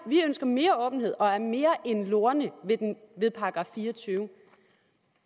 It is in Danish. åbenhed og er mere end lorne ved paragraf fireogtyvende